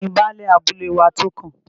Tani Baálẹ̀ abúlé wa tó kàn?